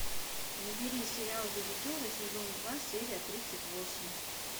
набери сериал визитеры сезон два серия тридцать восемь